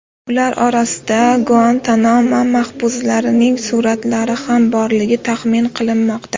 Ular orasida Guantanamo mahbuslarining suratlari ham borligi taxmin qilinmoqda.